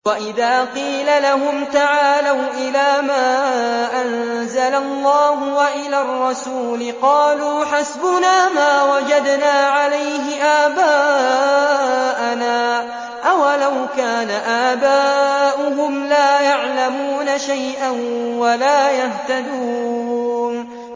وَإِذَا قِيلَ لَهُمْ تَعَالَوْا إِلَىٰ مَا أَنزَلَ اللَّهُ وَإِلَى الرَّسُولِ قَالُوا حَسْبُنَا مَا وَجَدْنَا عَلَيْهِ آبَاءَنَا ۚ أَوَلَوْ كَانَ آبَاؤُهُمْ لَا يَعْلَمُونَ شَيْئًا وَلَا يَهْتَدُونَ